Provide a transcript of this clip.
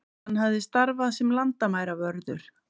Hann hafi starfað sem landamæravörður